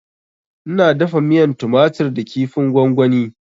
Ina dafa miyan tumatur da kifin gwagwani